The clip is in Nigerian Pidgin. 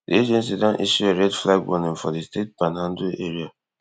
di agency don issue a red flag warning for di state panhandle area